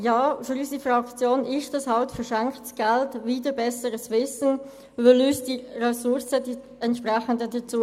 Ja, für unsere Fraktion handelt es sich hier um verschenktes Geld wider besseres Wissen, denn die entsprechenden Ressourcen fehlen uns dazu.